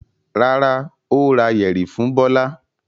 Rárá, ó ra yẹ̀rì fún Bọ́lá.